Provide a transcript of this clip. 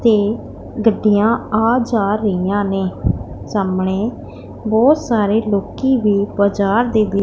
ਤੇ ਗੱਡੀਆਂ ਆ ਜਾ ਰਹੀਆਂ ਨੇਂ ਸਾਹਮਣੇ ਬਹੁਤ ਸਾਰੇ ਲੋਕੀ ਵੀ ਬਾਜਾਰ ਦੇ--